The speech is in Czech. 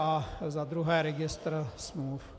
A za druhé registr smluv.